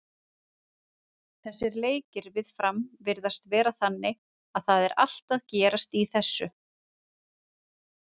Þessir leikir við Fram virðast vera þannig að það er allt að gerast í þessu.